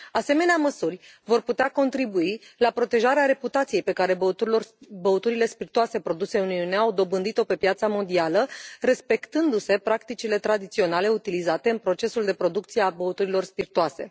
Asemenea măsuri vor putea contribui la protejarea reputației pe care băuturile spirtoase produse în Uniune au dobândit o pe piața mondială, respectându se practicile tradiționale utilizate în procesul de producție a băuturilor spirtoase.